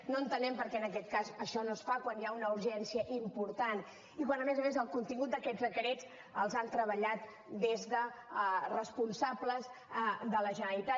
no entenem per què en aquest cas això no es fa quan hi ha una urgència important i quan a més a més el contingut d’aquests decrets els han treballat des de responsables de la generalitat